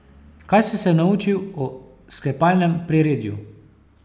Kaj si se naučil o sklepalnem priredju?